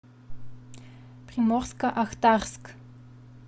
приморско ахтарск